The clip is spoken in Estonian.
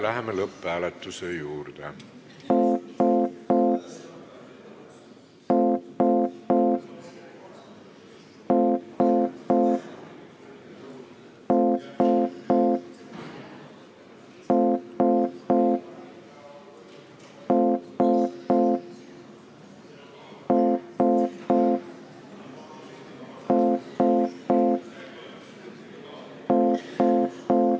Läheme lõpphääletuse juurde.